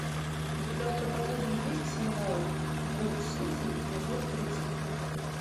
у тебя в каталоге есть сериал брод сити эпизод тридцать три